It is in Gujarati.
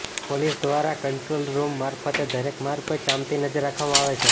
પોલીસ દ્વારા કંટ્રોલ રૂમ મારફતે દરેક માર્ગ પર ચાંપતી નજર રાખવામાં આવે છે